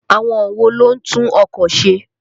Àwọn wo ló ń tún ọkọ̀ ṣe?